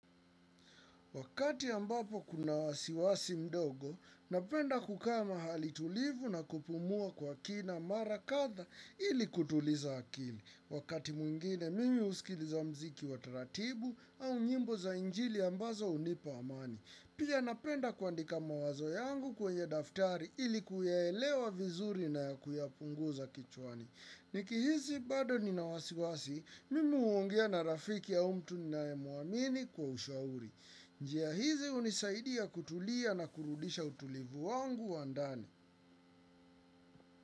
Wakati ambapo kuna wasiwasi mdogo, napenda kuka mahali tulivu na kupumua kwa kina mara kadha ili kutuliza akili. Wakati mwingine, mimi husikiliza muziki wataratibu au nyimbo za injili ambazo hunipa amani. Pia napenda kuandika mawazo yangu kwenye daftari ili kuyaelewa vizuri na kuyapunguza kichwani. Niki hisi bado nina wasiwasi, mimi huongea na rafiki au mtu ni nae muamini kwa ushauri. Njia hizi hunisaidia kutulia na kurudisha utulivu wangu wa ndani.